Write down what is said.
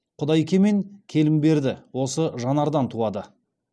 құдайке мен келімберді осы жанардан туады